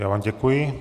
Já vám děkuji.